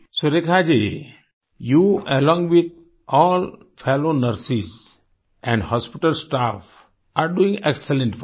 Surekha ji you along with all fellow nurses and hospital staff are doing excellent work